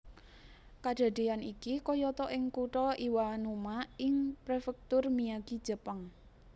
Kadadéyan iki kayata ing kutha Iwanuma ing Prefektur Miyagi Jepang